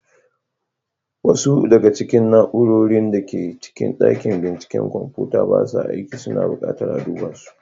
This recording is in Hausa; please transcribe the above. Wasu daga cikin na'urorin da ke cikin dakin binciken kwamfuta ba sa aiki, suna bukatar a duba su.